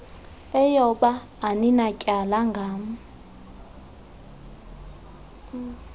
eyoba aninatyala ngam